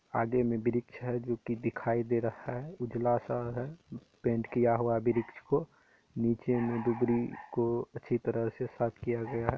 आगे में वृक्ष है जोकि दिखाई दे रहा है उजला-सा है। पेंट किया हुआ वृक्ष को भी दिखो। नीचे में दुबरी को अच्छी तरह से साफ़ किया गया है।